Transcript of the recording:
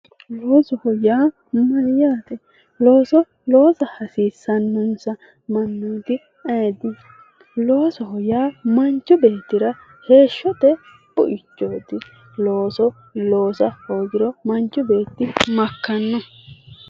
Loosoho yaa mayaate, looso loossa hasiissanonsa mannoti ayeeti, loosoho yaa manchi beettira ,heeshshote buichoti ,looso loossa hoogiro manchi beetti makkano ?